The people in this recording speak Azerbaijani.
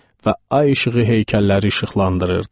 Və ay işığı heykəlləri işıqlandırırdı.